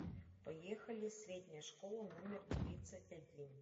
поехали средняя школа номер тридцать один